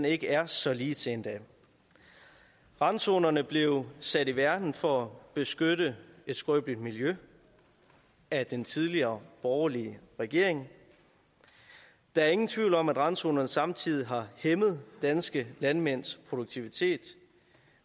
ikke er så ligetil endda randzonerne blev sat i verden for at beskytte et skrøbeligt miljø af den tidligere borgerlige regering der er ingen tvivl om at randzonerne samtidig har hæmmet danske landmænds produktivitet